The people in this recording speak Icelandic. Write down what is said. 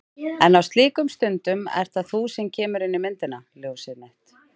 En á slíkum stundum ert það þú sem kemur inn í myndina. ljósið mitt.